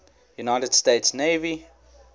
united states navy